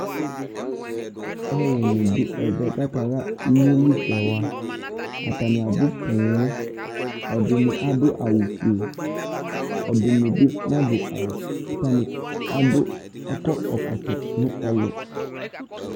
Aluni du ɛvɛ ka kaha ényéli sɛwa atani abu poo ɛdini adu awu fué ɛdini bi na du awu ku atani akɔ ɛkɔtɔ nu ɛlu